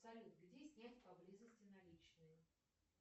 салют где снять поблизости наличные